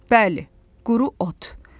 Bəli, quru ot.